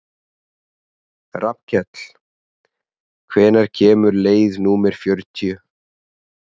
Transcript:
Rafnkell, hvenær kemur leið númer fjörutíu?